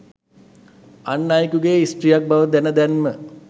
අන් අයෙකුගේ ස්ත්‍රීයක් බව දැන දැනම